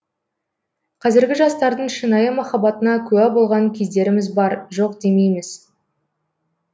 қазіргі жастардың шынайы махаббатына куә болған кездеріміз бар жоқ демейміз